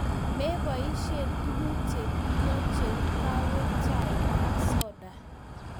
Mepoishe tuguk che peiyo cheu kawek, chaik ak soda